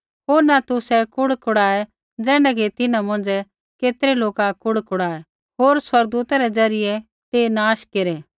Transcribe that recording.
होर न तुसै कुड़कुड़ाऐ ज़ैण्ढै कि तिन्हां मौंझ़ै केतरै लोका कुड़कुड़ाऐ होर स्वर्गदूता रै ज़रियै ते नाश केरै